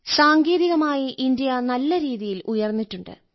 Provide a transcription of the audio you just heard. സാങ്കേതികമായി ഇന്ത്യ നല്ലരീതിയിൽ ഉയർന്നിട്ടുണ്ട്